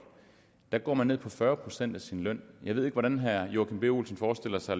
går ned på fyrre procent af sin løn jeg ved ikke hvordan herre joachim b olsen forestiller sig